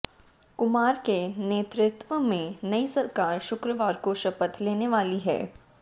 कुमार के नेतृत्व में नई सरकार शुक्रवार को शपथ लेने वाली है